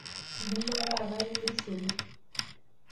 Nkima taata ayierishere